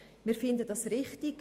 Wir finden das richtig.